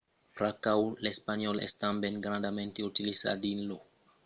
pr’aquò l’espanhòl es tanben grandament utilizat dins lo transpòrt public e d’autras installacions